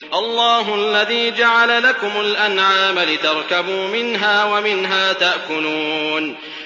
اللَّهُ الَّذِي جَعَلَ لَكُمُ الْأَنْعَامَ لِتَرْكَبُوا مِنْهَا وَمِنْهَا تَأْكُلُونَ